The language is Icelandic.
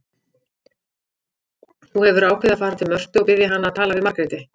Þú hefur ákveðið að fara til Mörtu og biðja hana að tala við Margréti.